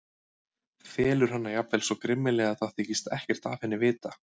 Felur hana jafnvel svo grimmilega að það þykist ekkert af henni vita.